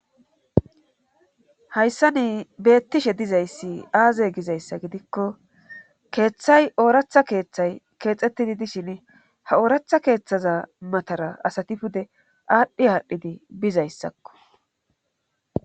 Hayssa nii beettishe dizayssi aaze gizayssa gidikko keeththay ooratha keeththay keexxettidi dishin ha ooratha keeththaza matara asati pude aadhdhi haadhdhidi bizayssakko.